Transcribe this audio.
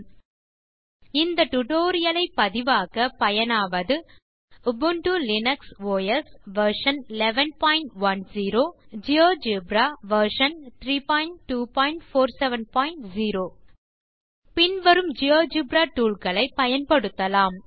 httpspoken tutorialorg இந்த tutorial ஐ பதிவாக்க பயனாவது Ubuntu Linux OS version 1110 GeoGebra version 32470 பின் வரும் ஜியோஜெப்ரா டூல் களை பயன்படுத்தலாம்